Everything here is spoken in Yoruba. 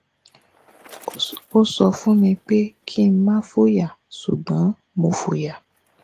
o sọ fun mi pe kin má foya ṣugbọn mo foya